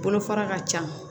Bolofara ka ca